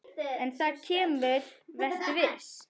En það kemur, vertu viss.